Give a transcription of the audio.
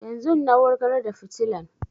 Yanzun na wurgar da fitilan